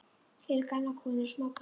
Hér eru gamlar konur og smábörn.